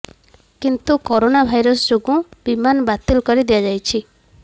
କିନ୍ତୁ corona virus ଯୋଗୁଁ ବିମାନ ବାତିଲ କରି ଦିଆଯାଇଛି